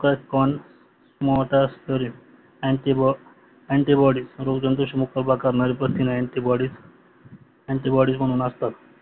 insulin glucose कॉर् glucose मॉर्टर antibody रोगजंतूशी मुक्तता करणारे प्रथिने अंटीबॉडी अंटीबॉडी म्हणून असतात